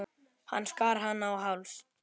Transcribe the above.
Hann skar hana á háls.